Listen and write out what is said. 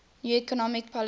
new economic policy